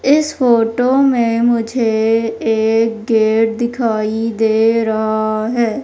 इस फोटो में मुझे एक गेट दिखाई दे रहा है।